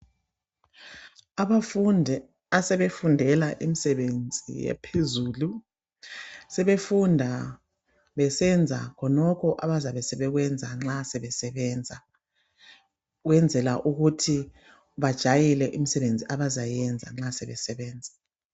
Abafundi asebefundela imisebenzi ephezulu sebefunda besenza khonokho abazabe sebekwenza nxa sebe sebenza, ukwenzela ukuthi bajayele imisebenzi abazayenza nxa sebe sebenza.